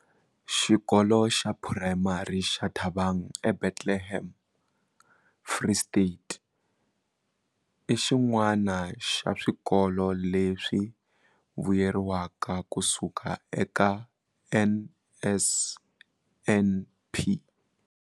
Xikolo xa Phurayimari xa Thabang eBethlehem, Free State, i xin'wana xa swikolo leswi vuyeriwaka kusuka eka NSNP.